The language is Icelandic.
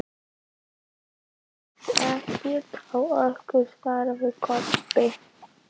Hann ræðst ekkert á okkur, svaraði Kobbi.